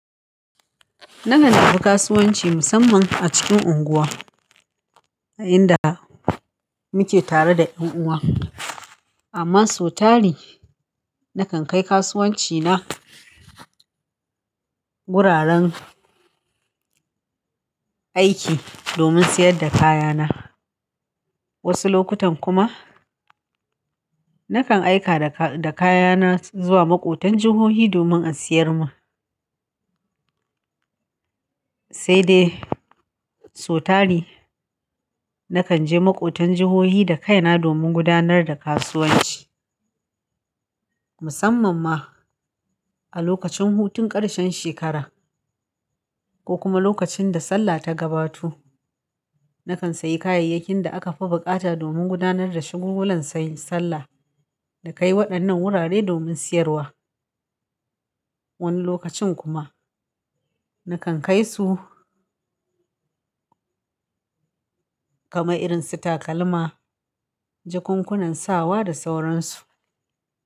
Na rungumi kasuwanci musamman a cikin unguwa, a inda muke tare da yan uwa. Amma sotari, na kan kai kasuwanci na guraren aiki domin sayar da kaya na. Wasu lokutan kuma, na kan aika da kaya na zuwa maƙotan jihohi domin an siyar ma. Sai dai, sotari na kan je maƙotan jihohi da kai na domin gudanar da kasuwanci. Musamman ma a lokacin hutun ƙarshen shekara ko kuma lokacin da Sallah ta gabato, na kan sayi kayayyakin da aka fi buƙata domin gudanar da shagulgulan Sallah na kai waɗannan wurare domin siyarwa. Wani lokacin kuma, na kan kai su kama irin su takalma, jakunkunan sawa da sauransu.